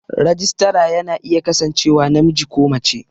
Rajistara ya na iya kasancewa namiji ko mace